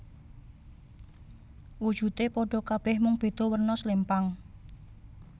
Wujude padha kabeh mung beda werna slempang